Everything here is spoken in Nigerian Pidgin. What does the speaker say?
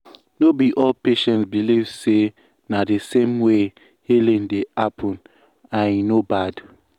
no be all patients believe say na the same way healing dey happen and e no bad.